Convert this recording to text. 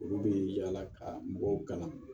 Olu bɛ yaala ka mɔgɔw kalan